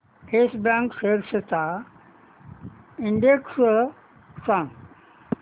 yes bank shares चा index सांगा